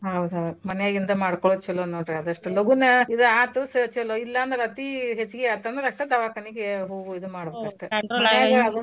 ಹೌದ್ ಹೌದ್ ಮನ್ಯಾಗಿಂದ ಮಾಡ್ಕೋಳೊದ್ ಚಲೋ ನೋಡ್ರಿ ಆದಸ್ಟು ಲಗುನ ಇದು ಆತು ಸ~ ಚಲೋ ಇಲ್ಲಾಂದ್ರ ಅತಿ ಹೆಚ್ಚಗಿ ಆತಂದ್ರ ಅಸ್ಟ ದವಾಖಾನಿಗೆ ಹೋಗೋ ಇದ ಮಾಡ್ಬಕಷ್ಟ .